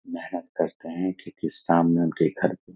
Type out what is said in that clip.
मेहनत करते है ठीक ही सामने उनके घर पे --